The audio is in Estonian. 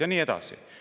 Ja nii edasi.